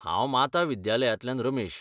हांव माता विद्यालयांतल्यान रमेश.